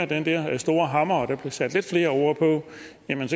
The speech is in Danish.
den der store hammer og der blev sat lidt flere ord på